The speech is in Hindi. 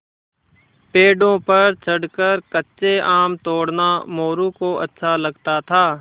पेड़ों पर चढ़कर कच्चे आम तोड़ना मोरू को अच्छा लगता था